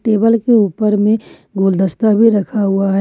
Table के ऊपर में गुलदस्ता भी रखा हुआ है।